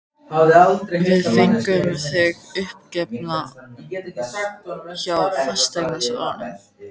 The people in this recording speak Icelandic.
Við fengum þig uppgefna hjá fasteignasalanum.